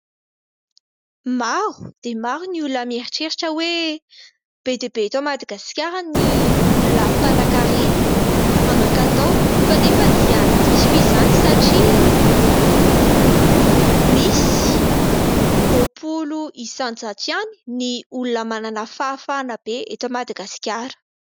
Maro dia maro ny olona mieritreritra hoe be dia be eto Madagasikara ny olona mpanakarena, manankatao fa nefa dia diso izany satria misy roapolo isanjato ihany ny olona manana fahafahana be eto Madagasikara.